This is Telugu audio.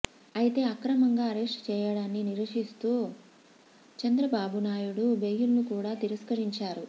అయితే అక్రమంగా అరెస్ట్ చేయడాన్ని నిరసిస్తూ చంద్రబాబునాయుడు బెయిల్ ను కూడ తిరస్కరించారు